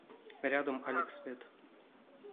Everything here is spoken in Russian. рядом алекс вет